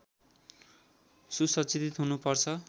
सुसज्जित हुनुपर्छ